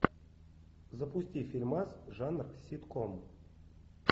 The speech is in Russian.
запусти фильмас жанр ситком